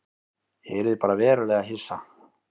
Ég yrði bara verulega hissa.